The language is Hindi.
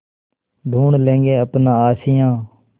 ढूँढ लेंगे अपना आशियाँ